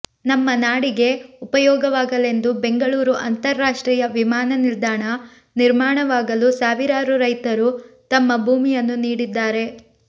ನಮ್ಮ ನಾಡಿಗೆ ಉಪಯೋಗವಾಗಲೆಂದು ಬೆಂಗಳೂರು ಅಂತಾರಾಷ್ಟ್ರೀಯ ವಿಮಾನ ನಿಲ್ದಾಣ ನಿರ್ಮಾಣವಾಗಲು ಸಾವಿರಾರು ರೈತರು ತಮ್ಮ ಭೂಮಿಯನ್ನು ನೀಡಿದ್ದಾರೆ